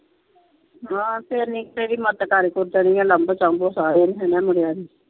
ਆਹੋ ਤੇ ਹਨੀ ਕੁ ਤੇਰੀ ਮਦਦ ਕਰ ਕੁਰ ਦੇਣੀ ਆ ਲਾਗੋਂ ਚਾਗੋਣ ਸਾਰੇ ਇਹਨਾ ਮੁੰਡਿਆ ਦੀ।